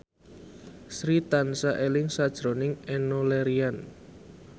Sri tansah eling sakjroning Enno Lerian